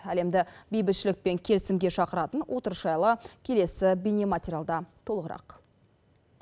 әлемді бейбітшілік пен келісімге шақыратын отырыс жайлы келесі бейнематериалда толығырақ